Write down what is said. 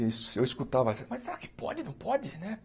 E eu escutava, mas será que pode, não pode, né?